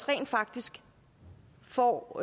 rent faktisk får